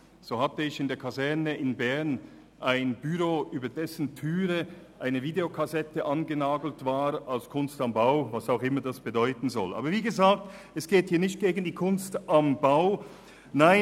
So hatte ich in der Kaserne in Bern ein Büro, über dessen Türe eine Videokassette als «Kunst am Bau» angenagelt war, was immer dies bedeuten soll.